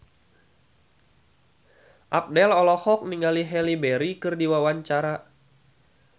Abdel olohok ningali Halle Berry keur diwawancara